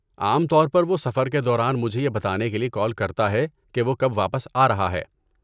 عام طور پر وہ سفر کے دوران مجھے یہ بتانے کے لیے کال کرتا ہے کہ وہ کب واپس آ رہا ہے۔